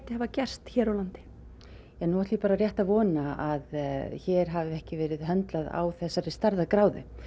hafi gerst hér á landi já nú ætla ég bara rétt að vona að hér hafi ekki verið höndlað af þessari stærðargráðu